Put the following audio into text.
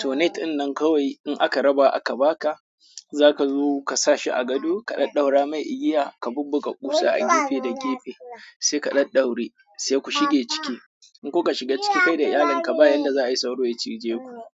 To net dinnan kawai in aka raba aka ba ka, za ka zo ka sa shi a gado, ka ɗaddaura mai igiya, ka bubbuka ƙusa a gefe da gefe, sai ka ɗaddauri, sai ku shige ciki. In kuka shiga ciki kai da iyalinka bayanda za a yi sauro ya cije ku.